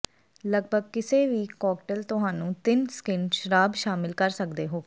ਲਗਭਗ ਕਿਸੇ ਵੀ ਕਾਕਟੇਲ ਤੁਹਾਨੂੰ ਤਿੰਨ ਸਕਿੰਟ ਸ਼ਰਾਬ ਸ਼ਾਮਿਲ ਕਰ ਸਕਦੇ ਹੋ